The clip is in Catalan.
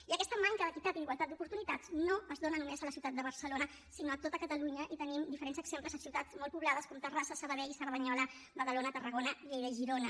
i aquesta manca d’equitat i d’igualtat d’oportunitats no es dona només a la ciutat de barcelona sinó a tot catalunya i en tenim diferents exemples a ciutats molt poblades com terrassa sabadell cerdanyola badalona tarragona lleida i girona